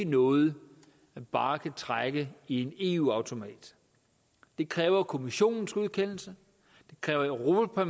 noget man bare kan trække i en eu automat det kræver kommissionens godkendelse det kræver europa